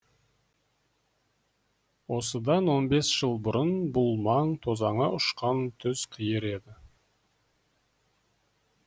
осыдан он бес жыл бұрын бұл маң тозаңы ұшқан түз қиыр еді